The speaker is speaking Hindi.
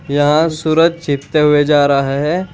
यहां से सूरज चीतते हुए जा रहा है।